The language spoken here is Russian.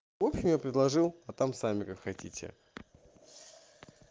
в общем я предложил а там сами как хотите